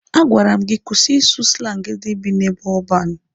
A gwara m gị kwụsị ịsụ slangi ndị bi n'ebe ọban!